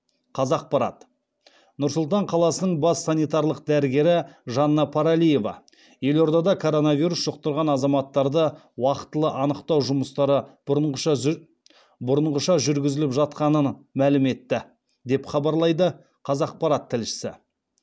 қазақпарат нұр сұлтан қаласының бас санитарлық дәрігері жанна паралиева елордада коронавирус жұқтырған азаматтарды уақтылы анықтау жұмыстары бұрынғыша жүргізіліп жатқанын мәлім етті деп хабарлайды қазақпарат тілшісі